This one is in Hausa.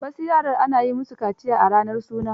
Wasu yaran, ana yi musu kaciya a ranar suna.